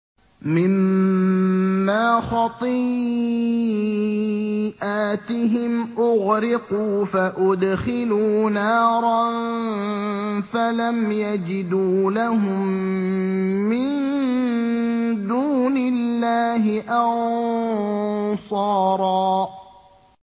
مِّمَّا خَطِيئَاتِهِمْ أُغْرِقُوا فَأُدْخِلُوا نَارًا فَلَمْ يَجِدُوا لَهُم مِّن دُونِ اللَّهِ أَنصَارًا